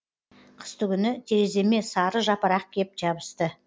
қыстыгүні тереземе сары жапырақ кеп жабысты